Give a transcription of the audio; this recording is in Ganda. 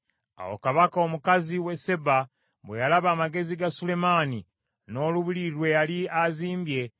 Awo Kabaka omukazi w’e Seeba bwe yalaba amagezi ga Sulemaani, n’olubiri lwe yali azimbye,